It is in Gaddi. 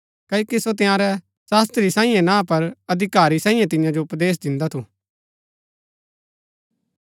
क्ओकि सो तंयारै शास्त्री साईयें ना पर अधिकारी साईयें तियां जो उपदेश दिन्दा थू